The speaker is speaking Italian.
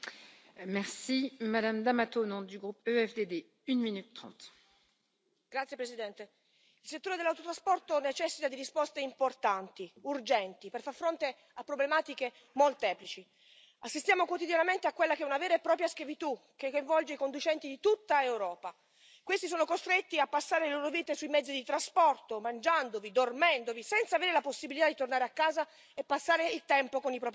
Signora Presidente, onorevoli colleghi, il settore dell'autotrasporto necessita di risposte importanti e urgenti per far fronte a problematiche molteplici. Assistiamo quotidianamente a quella che è una vera e propria schiavitù, che coinvolge i conducenti di tutta Europa essi sono costretti a passare le loro vite sui mezzi di trasporto, mangiandovi, dormendovi, senza avere la possibilità di tornare a casa e passare il tempo con i propri cari.